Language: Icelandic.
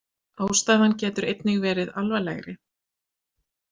Ástæðan getur einnig verið alvarlegri.